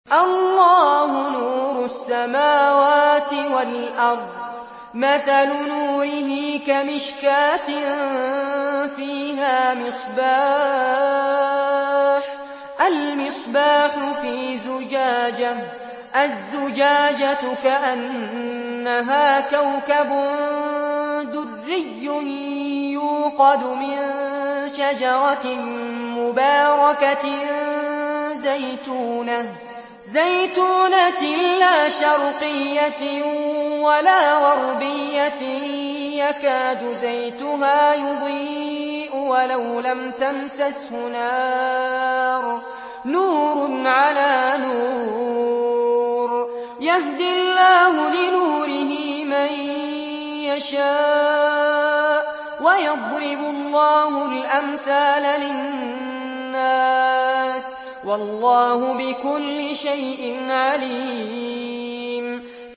۞ اللَّهُ نُورُ السَّمَاوَاتِ وَالْأَرْضِ ۚ مَثَلُ نُورِهِ كَمِشْكَاةٍ فِيهَا مِصْبَاحٌ ۖ الْمِصْبَاحُ فِي زُجَاجَةٍ ۖ الزُّجَاجَةُ كَأَنَّهَا كَوْكَبٌ دُرِّيٌّ يُوقَدُ مِن شَجَرَةٍ مُّبَارَكَةٍ زَيْتُونَةٍ لَّا شَرْقِيَّةٍ وَلَا غَرْبِيَّةٍ يَكَادُ زَيْتُهَا يُضِيءُ وَلَوْ لَمْ تَمْسَسْهُ نَارٌ ۚ نُّورٌ عَلَىٰ نُورٍ ۗ يَهْدِي اللَّهُ لِنُورِهِ مَن يَشَاءُ ۚ وَيَضْرِبُ اللَّهُ الْأَمْثَالَ لِلنَّاسِ ۗ وَاللَّهُ بِكُلِّ شَيْءٍ عَلِيمٌ